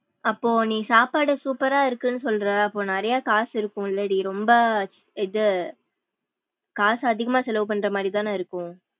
அப்போ நீ சாப்பாடு super ரா இருக்கும் சொல்ற அப்போ நிறையா காசு இருக்கும்லடி ரொம்ப இது காசு அதிகம்மா செல்லவு பன்ற மாரி தான இருக்கும்.